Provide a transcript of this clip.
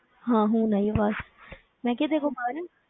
ਹਾਂ ਹੁਣ ਆਈ ਆਵਾਜ਼ ਮੈਂ ਕਿਹਾ ਤੇਰੇ ਕੋਲ ਬਾਰਾਂ,